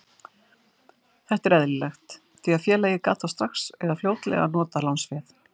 Þetta er eðlilegt því að félagið gat þá strax eða fljótlega notað lánsféð.